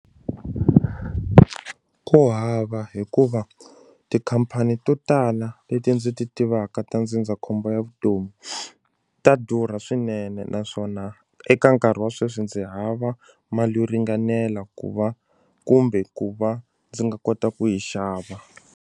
Ku hava hikuva tikhampani to tala leti ndzi ti tivaka ta ndzindzakhombo ya vutomi ta durha swinene naswona eka nkarhi wa sweswi ndzi hava mali yo ringanela ku va kumbe ku va ndzi nga kota ku yi xava.